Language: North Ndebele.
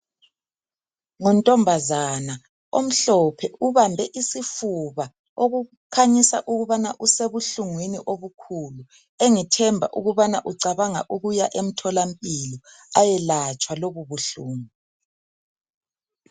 Nguntombazana omhlophe ubambe isifuba okukhanyisa ukubana usebuhlungwini obukhulu engithemba ukubana ucabanga ukuya emtholampilo ayelatshwa lobu buhlungu